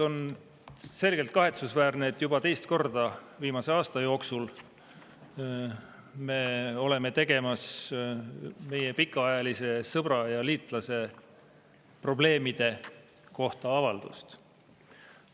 On selgelt kahetsusväärne, et juba teist korda viimase aasta jooksul me oleme tegemas meie pikaajalise sõbra ja liitlase probleemide kohta avaldust.